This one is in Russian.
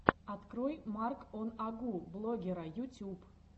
открой марк он агу блогера ютюб